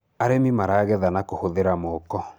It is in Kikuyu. arĩmi maragetha na kuhuthira moko